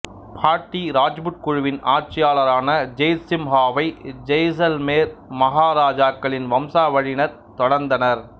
பாட்டி ராஜ்புட் குழுவின் ஆட்சியாளரான ஜெய்த்சிம்ஹாவை ஜெய்சல்மேர் மஹாராஜாக்களின் வம்சாவழியினர் தொடர்ந்தனர்